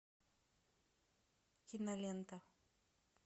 кинолента